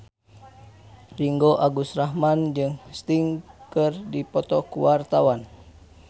Ringgo Agus Rahman jeung Sting keur dipoto ku wartawan